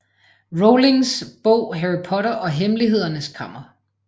Rowlings bog Harry Potter og Hemmelighedernes Kammer